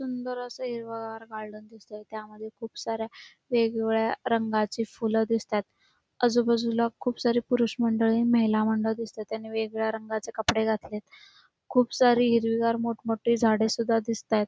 सुंदर अस हिरवगार गार्डन दिसतय त्यामध्ये खुप साऱ्या वेगवेगळ्या रंगाची फूल दिसत आहेत आजूबाजूला खुप सारी पुरुष मंडळी आणि महिला मंडळ दिसतय त्यांनी वेगवेगळ्या रंगाचे कपडे घातलेत खुप सारी हिरवीगार मोठ मोठी झाडे सुद्धा दिसत आहेत.